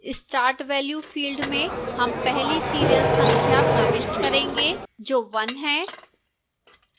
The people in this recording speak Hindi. start value field में हम पहली serial संख्या प्रविष्ट करेंगे जो 1 है